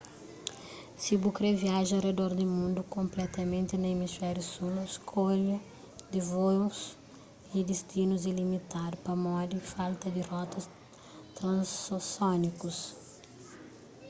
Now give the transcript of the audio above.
si bu kre viaja a redor di mundu konpletamenti na emisfériu sul skolha di vôus y destinus é limitadu pamodi falta di rotas transosiánikus